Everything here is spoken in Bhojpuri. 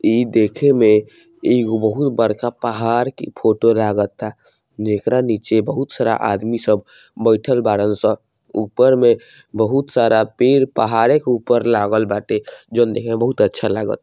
इ देखे में एगो बहुत बड़का पहाड़ के फोटो लागता जेकरा नीचे बहुत सारा आदमी सब बैठल बाड़न सन ऊपर में बहुत सारा पेड़ पहाड़े के ऊपर लागल बाटे जॉन देखे में बहुत अच्छा लागल।